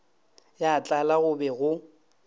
ya tlala go be go